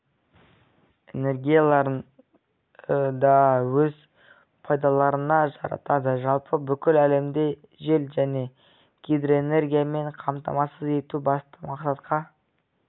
энергияларын да өз пайдаларына жаратады жалпы бүкіл әлемде жел және гидроэнергиямен қамтамасыз ету басты мақсатқа